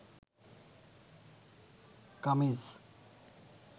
kameez